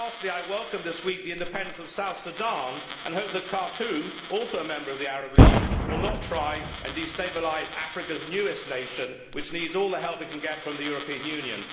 I welcome this week the independence of South Sudan, and hope that Khartoum, also a member of the Arab League, will not try to destabilise Africa's newest nation, which needs all the help it can get from the European Union.